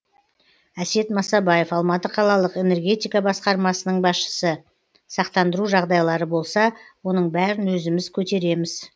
әсет масабаев алматы қалалық энергетика басқармасының басшысы сақтандыру жағдайлары болса оның бәрін өзіміз көтеремз